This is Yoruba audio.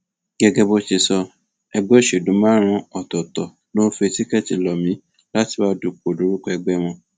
gẹgẹ bó ṣe sọ ẹgbẹ òṣèlú márùnún ọtọọtọ ló ń fi tíkẹẹtì lọ mí láti wàá dúpọ lórúkọ ẹgbẹ wọn